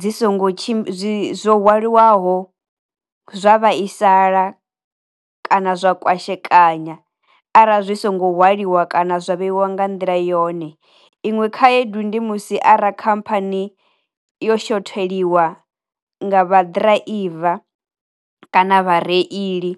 dzi songo tshi zwo hwalilwaho zwa vhaisala, kana zwa kwashekanya arali zwi songo hwaliwa kana zwa vheiwa nga nḓila yone, iṅwe khaedu ndi musi ara khamphani yo shotheliwe nga vha ḓiraiva kana vha reili.